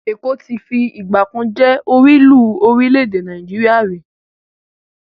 Èkó ti fi ìgbàkan jẹ́ orílùú orílẹ́-èdè Nàìjíríà rí.